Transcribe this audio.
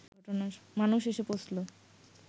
মানুষ এসে পৌঁছলো